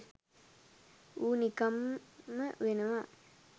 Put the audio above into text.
ඌ නිකම්ම වෙනවා.